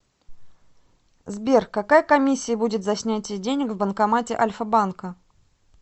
сбер какая комиссия будет за снятие денег в банкомате альфа банка